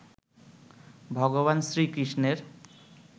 ভগবান শ্রীকৃষ্ণের